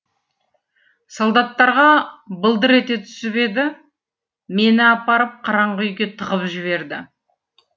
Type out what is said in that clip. солдаттарға былдыр ете түсіп еді мені апарып қараңғы үйге тығып жіберді